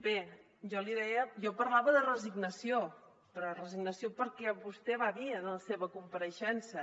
bé jo parlava de resignació però resignació perquè vostè va dir en la seva compareixença